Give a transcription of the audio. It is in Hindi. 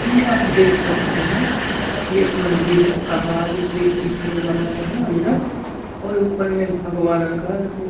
की आप देख सकते है ये एक मंदिर है पहार के बीच में बना हुआ है अंदर और ऊपर में भगवा रंग का एक--